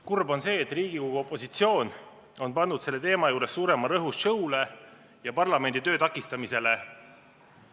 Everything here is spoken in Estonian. Kurb on see, et Riigikogu opositsioon on pannud selle teema juures suurema rõhu show'le ja parlamendi töö takistamisele.